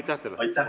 Aitäh teile!